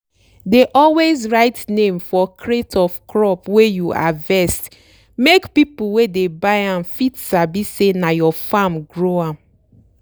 dey always write name for crate of crop wey you harvest make people wey dey buy am fit sabi say na your farm grow am.